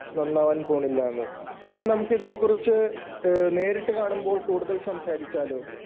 നന്നാവാൻ പോണില്ലാന്ന്. എങ്കിൽ നമുക്ക് ഇതിനെകുറിച്ച് നേരിട്ട് കാണുമ്പോൾ കൂടുതൽ സംസാരിക്കാല്ലോ.